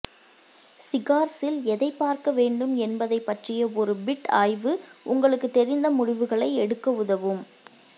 சிகார்ஸில் எதைப் பார்க்க வேண்டும் என்பதைப் பற்றிய ஒரு பிட் ஆய்வு உங்களுக்குத் தெரிந்த முடிவுகளை எடுக்க உதவும்